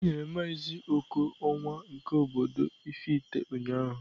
Enyere maazị Oko onwa nke obodo Ifite ụnyahụ.